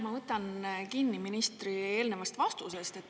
Ma võtan kinni ministri eelnevast vastusest.